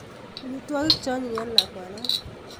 Omitwokik cheonyiy eng lakwanon